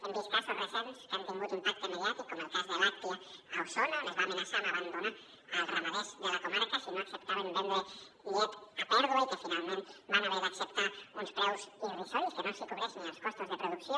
hem vist casos recents que han tingut impacte mediàtic com el cas de làctia a osona on es va amenaçar amb abandonar els ramaders de la comarca si no acceptaven vendre llet a pèrdua i finalment van haver d’acceptar uns preus irrisoris que no els hi cobreixen ni els costos de producció